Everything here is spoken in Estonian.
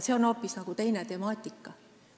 See on hoopis teine temaatika.